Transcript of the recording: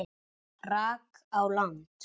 rak á land.